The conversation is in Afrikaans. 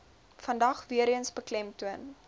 vandag weereens beklemtoon